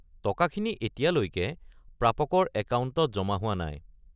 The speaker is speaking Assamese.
টকাখিনি এতিয়ালেকৈ প্ৰাপকৰ একাউণ্টত জমা হোৱা নাই।